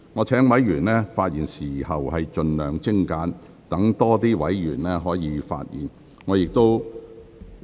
請委員發言時盡量精簡，讓更多委員可以發言。